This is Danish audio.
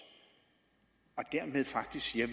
og dermed faktisk siger at